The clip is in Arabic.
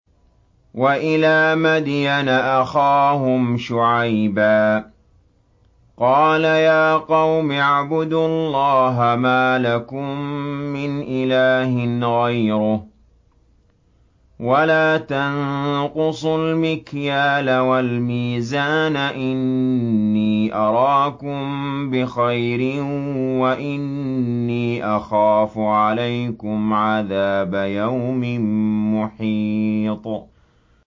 ۞ وَإِلَىٰ مَدْيَنَ أَخَاهُمْ شُعَيْبًا ۚ قَالَ يَا قَوْمِ اعْبُدُوا اللَّهَ مَا لَكُم مِّنْ إِلَٰهٍ غَيْرُهُ ۖ وَلَا تَنقُصُوا الْمِكْيَالَ وَالْمِيزَانَ ۚ إِنِّي أَرَاكُم بِخَيْرٍ وَإِنِّي أَخَافُ عَلَيْكُمْ عَذَابَ يَوْمٍ مُّحِيطٍ